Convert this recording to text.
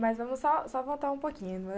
Mas vamos só só voltar um pouquinho.